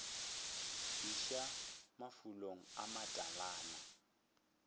iša mafulong a matala na